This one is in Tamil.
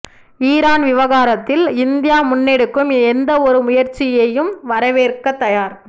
ஈரான் விவகாரத்தில் இந்தியா முன்னெடுக்கும் எந்த ஒரு முயற்சியையும் வரவேற்கத் தயார்